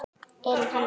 Elín Hanna.